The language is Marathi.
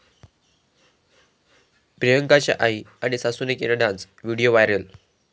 प्रियांकाच्या आई आणि सासूनं केला डान्स, व्हिडिओ व्हायरल